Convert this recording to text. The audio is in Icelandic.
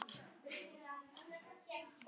Viltu ekki hitta fjölskyldu mína?